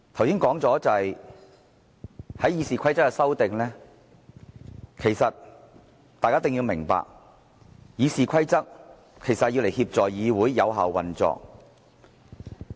剛才說到《議事規則》的修訂，其實大家一定要明白，《議事規則》是用來協助議會有效運作的。